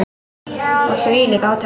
Og þvílík átök.